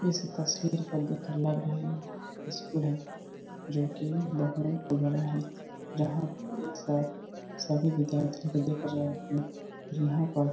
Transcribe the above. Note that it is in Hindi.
इस तस्वीर को देखकर लग रही है इशकुल है जो कि बहुत बड़ा है जहाँ एक सर सभी विद्यार्थी को देख रहे हैं यहाँ पर --